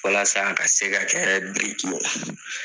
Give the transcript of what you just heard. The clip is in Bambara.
Walasa a ka se ka kɛ ye.